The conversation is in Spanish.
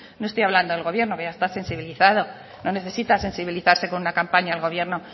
no estoy hablando del gobierno que ya está sensibilizado no necesita sensibilizarse con una campaña el gobierno